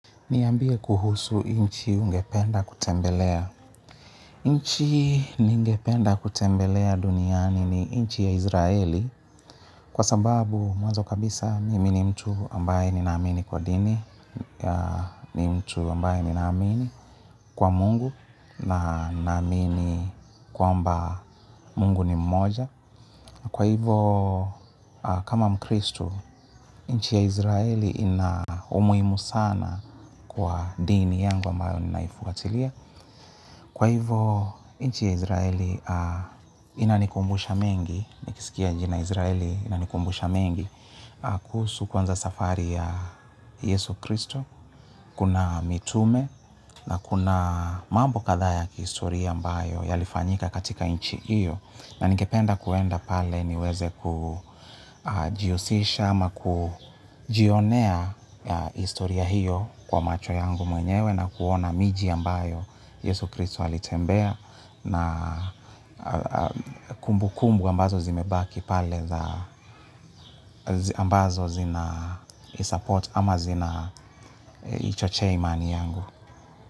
Niambie kuhusu nchi ungependa kutembelea. Nchi ningependa kutembelea duniani ni inchi ya Izraeli. Kwa sababu, mwanzo kabisa mimi ni mtu ambaye ni naamini kwa dini. Ni mtu ambaye ninaamini kwa Mungu. Na naamini kwamba Mungu ni mmoja. Kwa hivo kama kristo, nchi ya israeli ina umuhimu sana kwa dini yangu ambayo ninaifuatilia. Kwa hivo, nchi ya Izraeli inanikumbusha mengi, nikisikia jina Izraeli inanikumbusha mengi kuhusu kwanza safari ya Yesu Kristo. Kuna mitume na kuna mambo kadhaa ya kihistoria ambayo yalifanyika katika nchi hio. Na ningependa kuenda pale niweze kujihusisha ama kujionea historia hio kwa macho yangu mwenyewe na kuona miji ambayo Yesu Kristo alitembea na kumbu kumbu ambazo zimebaki pale ambazo zina isupport ama zina ichochea imani yangu.